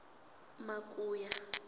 makuya